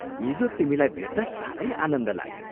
हिजो तिमीलाई भेट्दा सारै आनन्द लाग्यो।